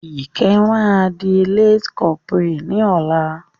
Ìkẹ́ máa di lance corporal ní ọ̀la.